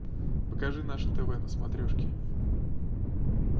покажи наше тв на смотрешке